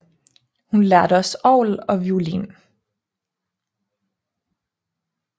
Hun lærte også orgel og violin